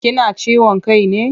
Kina ciwon ciki ne?